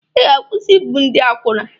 Ị ga-akwụsị ibu ndị akwụna.